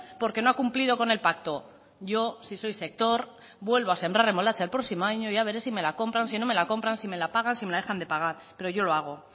porque no ha cumplido con el pacto yo si soy sector vuelvo a sembrar remolacha el próximo año y ya veré si me la compran si no me la compran si me la pagan si me la dejan de pagar pero yo lo hago